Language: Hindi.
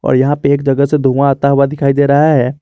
और यहां पे एक जगह से धुआं आता हुआ दिखाई दे रहा है।